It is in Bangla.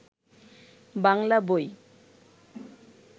বাংলা বই